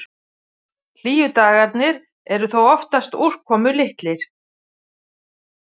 Hlýju dagarnir eru þó oftast úrkomulitlir.